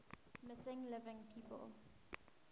missing living people